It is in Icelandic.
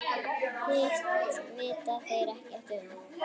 Hitt vita þeir ekkert um.